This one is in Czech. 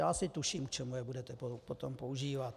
Já asi tuším, k čemu je budete potom používat.